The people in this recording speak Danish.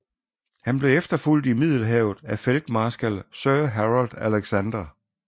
Han blev efterfulgt i Middelhavet af feltmarskal Sir Harold Alexander